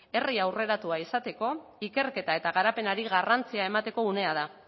ere herri aurreratua izateko ikerketa eta garapenari garrantzia emateko unea da